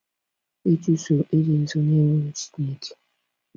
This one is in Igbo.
Ịchụso Ịdị Nsọ n’egwu Chineke